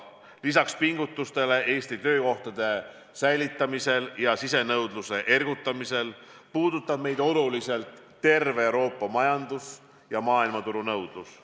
Lisaks pingutustele Eestis töökohtade säilitamisel ja sisenõudluse ergutamisel puudutab meid oluliselt terve Euroopa majandus ja maailmaturu nõudlus.